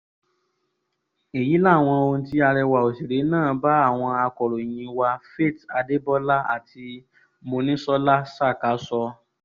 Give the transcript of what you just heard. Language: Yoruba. èyí làwọn ohun tí arẹwà òṣèré náà bá àwọn akòròyìn wa faith adebólá àti mòníṣọ́lá ṣàkà sọ